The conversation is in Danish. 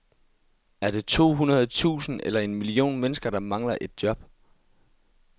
Er det to hundrede tusind eller en million mennesker, der mangler et job?